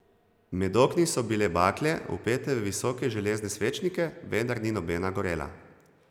Med okni so bile bakle, vpete v visoke železne svečnike, vendar ni nobena gorela.